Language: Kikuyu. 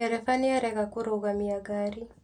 Ndereba nĩarega kũrũgamia ngari